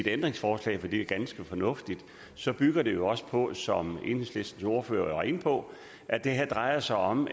ændringsforslag fordi det er ganske fornuftigt så bygger det jo også på som enhedslistens ordfører var inde på at det her drejer sig om